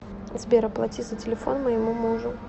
сбер оплати за телефон моему мужу